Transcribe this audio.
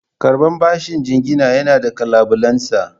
Karɓar bashin jingina yana da ƙalubalensa.